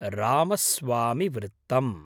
रामस्वामिवृत्तम्